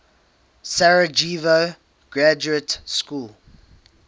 sarajevo graduate school